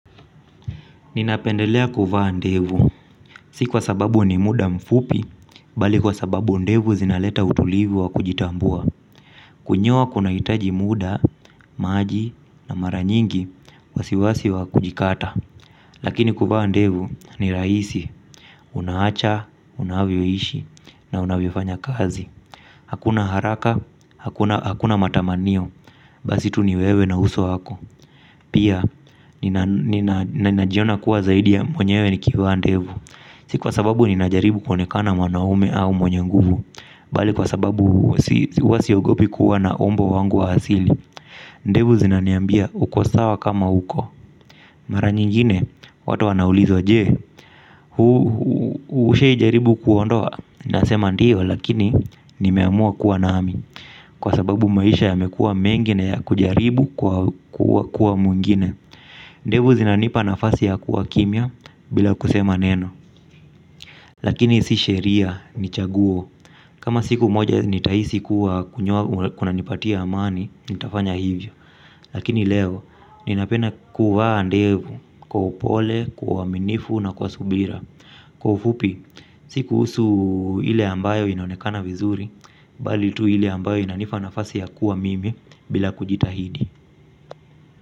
Ninapendelea kuvaa ndevu, si kwa sababu ni muda mfupi, bali kwa sababu ndevu zinaleta utulivu wa kujitambua. Kunyoa kuna hitaji muda, maji, na mara nyingi, wasiwasi wa kujikata. Lakini kuvaa ndevu ni raisi, unaacha, unavyoishi, na unavyofanya kazi. Hakuna haraka, hakuna matamanio, basi tu ni wewe na uso wako. Pia, ninajiona kuwa zaidi ya mwenyewe nikivaa ndevu. Si kwa sababu ninajaribu kuonekana mwanaume au mwenye nguvu bali kwa sababu huwa siogopi kuwa na umbo wangu wa hasili ndevu zinaniabia uko sawa kama uko. Mara nyingine, watu wanauliza je. Hushawai jaribu kuondoa nasema ndio lakini nimeamua kuwa nami. Kwa sababu maisha yamekua mengi na ya kujaribu kwa kuwa mwingine. Ndevu zinanipa nafasi ya kuwa kimia bila kusema neno. Lakini si sheria, ni chaguo. Kama siku moja nitahisi kuwa kunyoa unanipatia amani, nitafanya hivyo. Lakini leo, ninapenda kuvaa ndevu kwa upole, kwa uwaminifu na kwa subira. Kwa ufupi, sikuhusu ile ambayo inonekana vizuri bali tu ili ambayo inanipa nafasi ya kuwa mimi bila kujitahidi.